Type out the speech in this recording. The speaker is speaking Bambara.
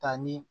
Ka ni